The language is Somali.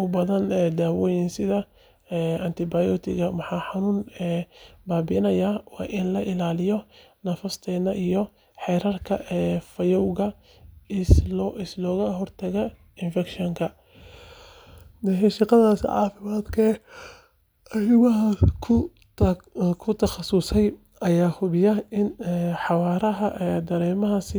u baahan daawooyin sida antibiyootikada ama xanuun baabi’iyeyaasha. Waa in la ilaaliyo nadaafadda iyo xeerarka fayadhowrka si looga hortago infekshan. Shaqaalaha caafimaadka ee arimahaas ku takhasusay ayaa hubiya in xawaaraha dareeraha si sax ah.